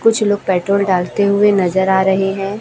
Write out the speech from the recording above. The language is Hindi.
कुछ लोग पेट्रोल डालते हुए नजर आ रहे हैं।